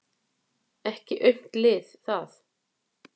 Ekki aumt lið það.